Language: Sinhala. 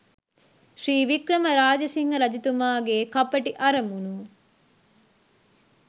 ශ්‍රී වික්‍රම රාජසිංහ රජතුමා ගේ කපටි අරමුණු